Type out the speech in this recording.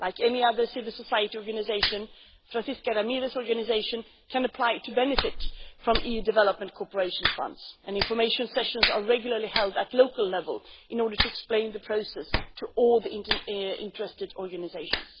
Like any other civil society organisation, Francesca Ramirez's organisation can apply to benefit from EU development cooperation funds, and information sessions are regularly held at local level in order to explain the process to all the interested organisations.